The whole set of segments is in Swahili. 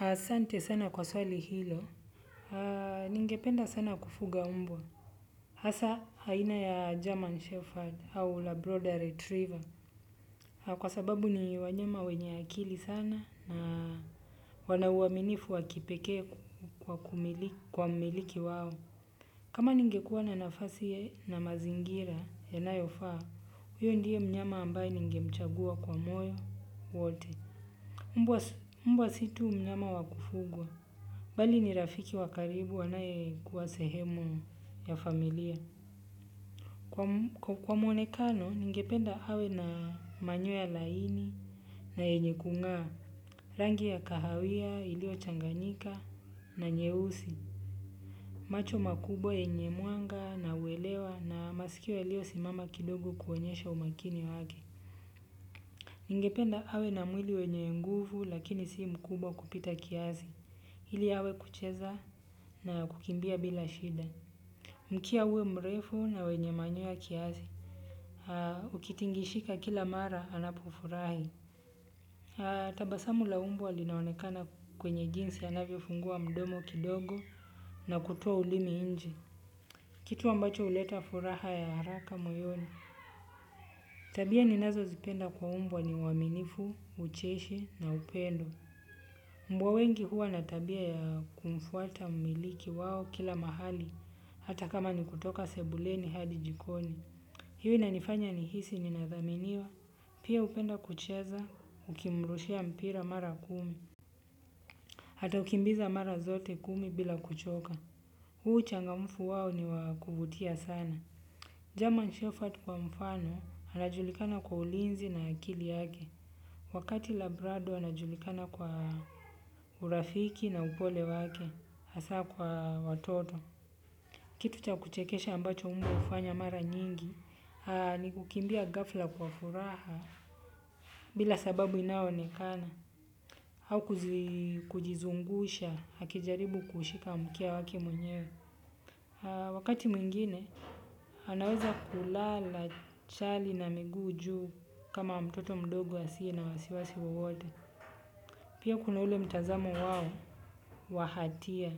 Asante sana kwa swali hilo. Ningependa sana kufuga mbwa. Hasa aina ya German Shepherd au la Broader Retriever. Kwa sababu ni wanyama wenye akili sana na wana uaminifu wakipekee kwa mmiliki wao. Kama ningekuwa na nafasi na mazingira ya na yofaa, huyo ndiye mnyama ambaye ningemchagua kwa moyo wote. Mbwa situ mnyama wakufugwa. Bali ni rafiki wakaribu anaye kuwa sehemu ya familia. Kwa mwonekano, ningependa awe na manyo ya laini na yenye kung'a. Rangi ya kahawia, iliyo changanyika na nyeusi. Macho makubwa yenye mwanga na uelewa na masikio yaliyo simama kidogo kuonyesha umakini wake. Ningependa awe na mwili wenye nguvu lakini si mkubwa kupita kiasi ili awe kucheza na kukimbia bila shida. Mkia uwe mrefu na wenye manyo ya kiasi. Ukitingishika kila mara anapofurahi. Tabasamu la mbwa linaonekana kwenye jinsi anavyo fungua mdomo kidogo na kutoa ulimi nje. Kitu ambacho huleta furaha ya haraka moyoni. Tabia ninazo zipenda kwa mbwa ni uwaminifu, ucheshi na upendo. Mbwa wengi huwa natabia ya kumfuata mmiliki wao kila mahali. Hata kama nikutoka sebuleni hadi jikoni. Hiyo inanifanya nihisi ninadhaminiwa pia hupenda kucheza ukimrushia mpira mara kumi ataukimbiza mara zote kumi bila kuchoka. Huo uchangamfu wao ni wakuvutia sana. Germanshepherd kwa mfano, anajulikana kwa ulinzi na akili yake. Wakati labrado anajulikana kwa urafiki na upole wake, hasa kwa watoto. Kitu cha kuchekesha ambacho mbwahufanya mara nyingi ni kukimbia gafla kwa furaha bila sababu inayoonekana au kujizungusha akijaribu kuushika mkia wakemwenye. Wakati mwingine anaweza kulala chali na miguu juu kama mtoto mdogo asiye na wasiwasi wowote. Pia kuna ule mtazamo wao wa hatia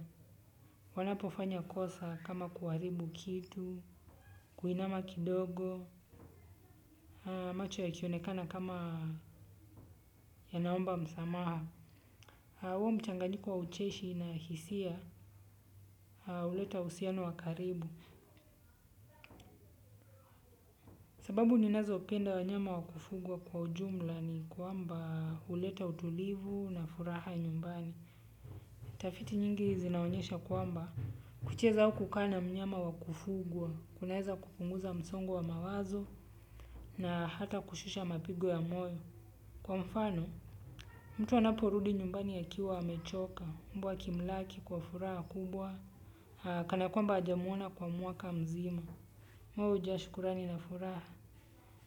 wanapofanya kosa kama kuharibu kitu kuinama kidogo macho yakionekana kama yanaomba msamaha au huo mchanganyiko wa ucheshi na hisia huleta uhusiano wa karibu. Sababu ni nazo penda wanyama wakufugwa kwa ujumla ni kwamba huleta utulivu na furaha nyumbani. Tafiti nyingi zinaonyesha kwamba, kucheza aukukaana mnyama wakufugwa, kunaeza kupunguza msongowa mawazo na hata kushusha mapigo ya moyo. Kwa mfano, mtu anaporudi nyumbani a kiwa amechoka, mbwa akimlaki kwa furaha kubwa, kanakwamba hajamwona kwa mwaka mzima. Moyo hujashukurani na furaha.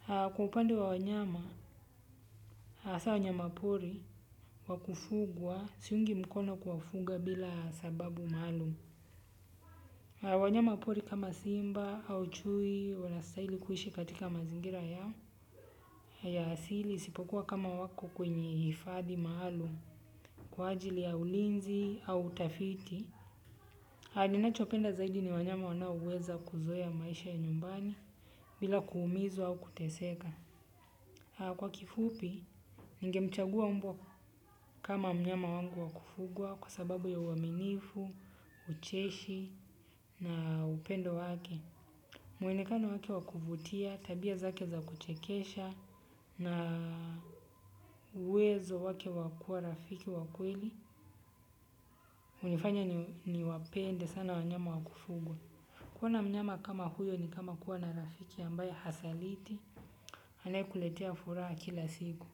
Kwaupande wa wanyama, hasa wanyama pori, wakufugwa, siungi mkono kuwa fuga bila sababu maalumu. Wanyama pori kama simba au chui wana stahili kuishi katika mazingira yao ya asili isipokuwa kama wako kwenye hifadhi maalum kwa ajili ya ulinzi au utafiti. Ninachopenda zaidi ni wanyama wana oweza kuzoea maisha ya nyumbani bila kuumizwa au kuteseka. Kwa kifupi, ninge mchagua mbwa kama mnyama wangu wakufugwa kwa sababu ya uaminifu, ucheshi na upendo wake. Mwonekano wake wakuvutia, tabia zake za kuchekesha na uwezo wake wakua rafiki wakweli hunifanya ni wapende sana wanyama wakufugwa. Kuwa na mnyama kama huyo ni kama kuwa na rafiki ambaye hasaliti anaye kuletea furaha kila siku.